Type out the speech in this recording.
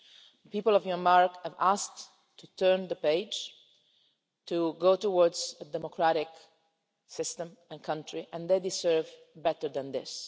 The people of Myanmar have asked to turn the page, to go towards a democratic system and country, and they deserve better than this.